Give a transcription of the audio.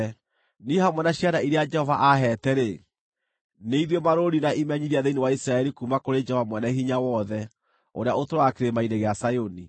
Niĩ hamwe na ciana iria Jehova aheete-rĩ, nĩ ithuĩ marũũri na imenyithia thĩinĩ wa Isiraeli kuuma kũrĩ Jehova Mwene-Hinya-Wothe ũrĩa ũtũũraga Kĩrĩma-inĩ gĩa Zayuni.